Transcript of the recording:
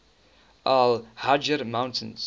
al hajar mountains